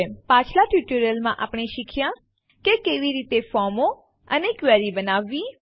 પાછલાં ટ્યુટોરીયલોમાં આપણે શીખ્યાં કે કેવી રીતે ફોર્મો અને ક્વેરી બનાવવી